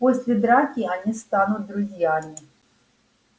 после драки они станут друзьями